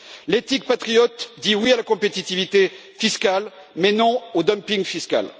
L'éthique patriote dit oui à la compétitivité fiscale, mais non au dumping fiscal.